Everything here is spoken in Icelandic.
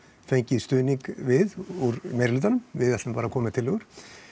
fengið stuðning við úr meiri hlutanum við ætlum að koma með tillögur